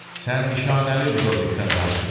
Sən nişanəli Lidovikdən danışırsan.